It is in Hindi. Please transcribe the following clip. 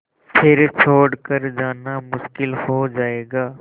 फिर छोड़ कर जाना मुश्किल हो जाएगा